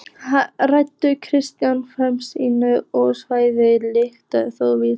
Rætur kristinnar femínískrar siðfræði liggja þó víðar.